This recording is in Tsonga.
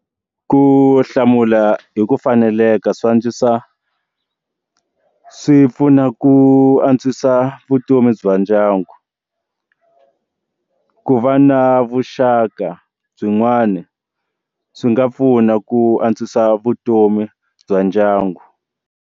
Ku hlamula hi ku faneleka swi antswisa swipfuna ku antswisa vutomi bya ndyangu ku va na vuxaka byin'wana swi nga pfuna ku antswisa vutomi bya ndyangu.